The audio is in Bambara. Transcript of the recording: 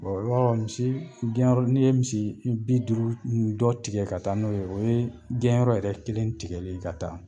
i b'a dɔn misi gɛnyɔrɔ n'i ye misi i bi duuru ni dɔ tigɛ ka taa n'o ye o ye gɛnyɔrɔ yɛrɛ kelen tigɛli ye ka taa.